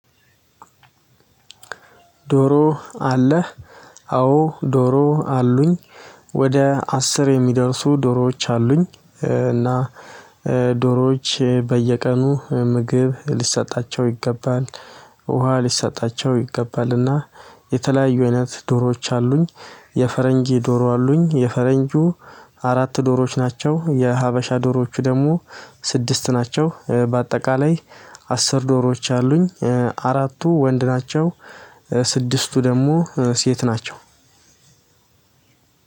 ዶሮ አለህ? አዎ። ዶሮ አሉኝ ወደ አስር የሚደርሱ ዶሮዎች አሉኝ። እና ዶሮዎች በየቀኑ ምግብ ሊሰጣቸው ይገባል። ውሃ ሊሰጣቸው ይገባልና የተለያዩ አይነት ዶሮዎች አሉኝ። የፈረንጅ ዶሮ አሉኝ የፈረንጁ አራት ዶሮዎች ናቸው። የሀበሻ ዶሮዎቹ ደግሞ ስድስት ናቸው። በአጠቃላይ አስር ዶሮዎች አሉኝ። አራቱ ወንድ ናቸው። ስድስቱ ደግሞ ሴት ናቸው።